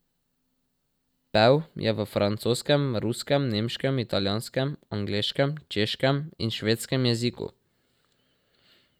Pel je v francoskem, ruskem, nemškem, italijanskem, angleškem, češkem in švedskem jeziku.